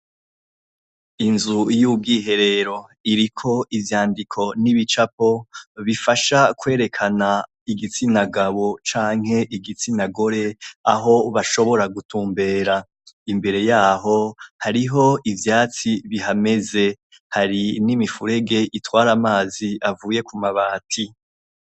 Inzu y'ubwiherero. Iriko ivyandiko n'ibicapo, bifasha kwerekana igitsina gabo canke igitsina gore, aho bashobora gutumbera. Imbere yaho, hariho ivyatsi bihameze. Hari n'imifurege itwara amazi avuye ku mabati.